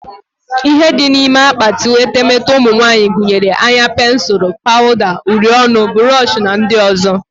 Ihe dị n'ime akpati etemete ụmụnwanyị gunyere; anya pensul, pawuda, uri ọnụ, burush na ndị ọzọ